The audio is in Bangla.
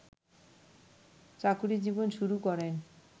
চাকরি জীবন শুরু করেন